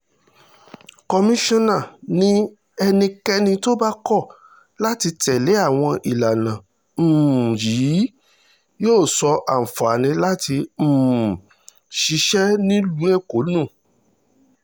kọmíṣánná ni ẹnikẹ́ni tó bá kọ̀ láti tẹ̀lé àwọn ìlànà um yìí yóò sọ àǹfààní láti um ṣiṣẹ́ nílùú èkó nù